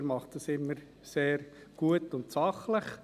Er macht das immer sehr gut und sachlich.